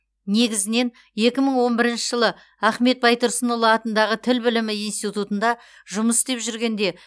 негізінен екі мың он бірінші жылы ахмет байтұрсынұлы атындағы тіл білімі институтында жұмыс істеп жүргенде